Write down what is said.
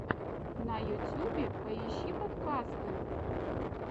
на ютюбе поищи подкасты